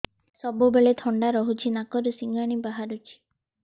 ସବୁବେଳେ ଥଣ୍ଡା ରହୁଛି ନାକରୁ ସିଙ୍ଗାଣି ବାହାରୁଚି